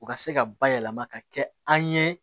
U ka se ka bayɛlɛma ka kɛ an ye